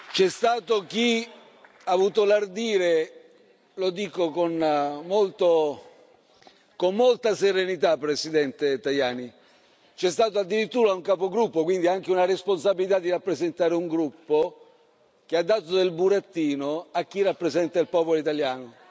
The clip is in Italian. C'è stato chi ha avuto l'ardire lo dico con molta serenità, Presidente Tajani c'è stato addirittura un capogruppo, quindi che ha anche la responsabilità di rappresentare un gruppo, che ha dato del burattino a chi rappresenta il popolo italiano.